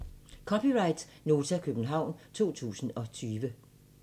(c) Nota, København 2020